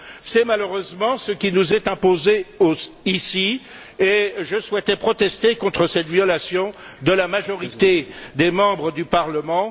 C'est malheureusement ce qui nous est imposé ici et je souhaitais protester contre cette violation de la majorité du Parlement.